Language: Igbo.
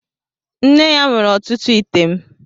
Nne ya nwere ọtụtụ ite m